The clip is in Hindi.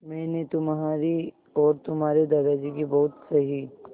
मैंने तुम्हारी और तुम्हारे दादाजी की बहुत सही